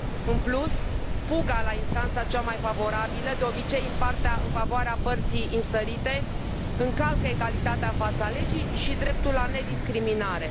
În plus, fuga la instanța cea mai favorabilă, de obicei în favoarea părții înstărite, încalcă egalitatea în fața legii și dreptul la nediscriminare.